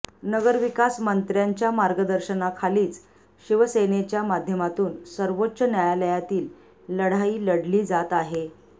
नगरविकास मंत्र्यांच्या मार्गदर्शनाखालीच शिवसेनेच्या माध्यमातून सर्वोच्च न्यायालयातील लढाई लढली जात आहे